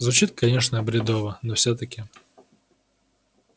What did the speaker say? звучит конечно бредово но всё-таки